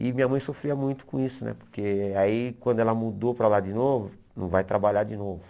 E minha mãe sofria muito com isso né, porque aí quando ela mudou para lá de novo, não vai trabalhar de novo.